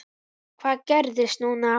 Hvað gerist núna?